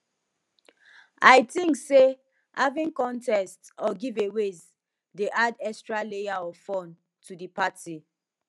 i think say having contests or giveaways dey add extra layer of fun to di party